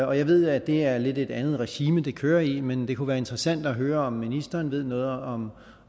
og jeg ved at det er et lidt andet regime det kører i men det kunne være interessant at høre om ministeren ved noget om